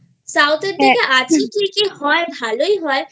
South এর দিকে আছি ঠিকই হয় ভালোই হয়